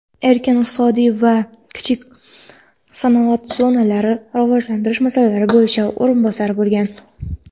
erkin iqtisodiy va kichik sanoat zonalarini rivojlantirish masalalari bo‘yicha o‘rinbosari bo‘lgan.